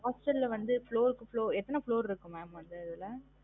Hostel ல வந்து floor க்கு floo~ எத்தன floor இருக்கு mam அந்த இதுல?